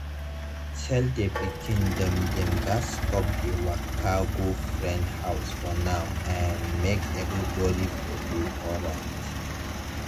tell the pikin dem dem gats stop to dey waka go friend house for now um make everybody for dey alright.